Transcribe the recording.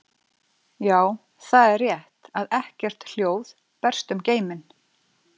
Já, það er rétt að ekkert hljóð berst um geiminn.